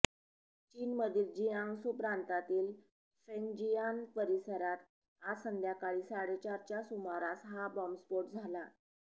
चीनमधील जिआंग्सू प्रांतातील फेंगजिआन परिसरात आज संध्याकाळी साडेचारच्या सुमारास हा बॉम्बस्फोट झाला